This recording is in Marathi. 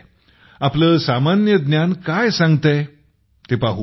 तुमचे सामान्य ज्ञान काय सांगते ते पाहू